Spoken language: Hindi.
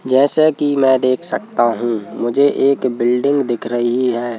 जैसे कि मैं देख सकता हूं मुझे एक बिल्डिंग दिख रही है।